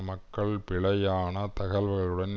மக்கள் பிழையான தகவல்களுடன்